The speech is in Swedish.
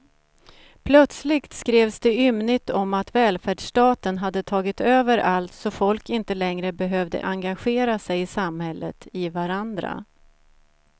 Plötsligt skrevs det ymnigt om att välfärdsstaten hade tagit över allt så folk inte längre behövde engagera sig i samhället, i varandra.